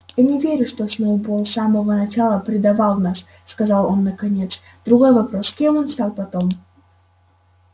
я не верю что сноуболл с самого начала предавал нас сказал он наконец другой вопрос кем он стал потом